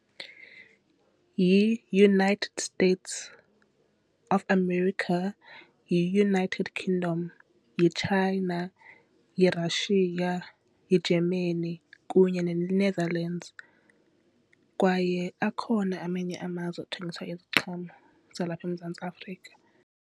YiUnited States of America, yiUnited Kingdom, yiChina, yiRussia, yiGermany kunye neNethelands kwaye akhona amanye amazwe athengisa iziqhamo zalapha eMzantsi Afrika.